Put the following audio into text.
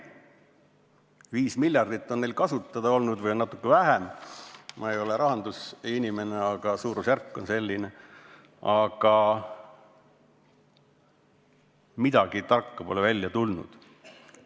Neil on kasutada olnud 5 miljardit eurot või natuke vähem – ma ei ole rahandusinimene, aga suurusjärk on umbes selline –, kuid midagi tarka pole välja tulnud.